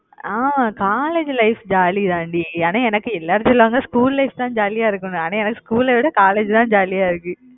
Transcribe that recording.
ஆமா college life jolly தாண்டி, ஆனா எனக்கு எல்லாரும் சொல்லுவாங்க school life தான் jolly ஆ இருக்கும்னு, ஆனா எனக்கு school அ விட college தான் jolly ஆ இருக்கு